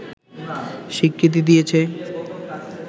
স্বীকৃতি দিয়েছে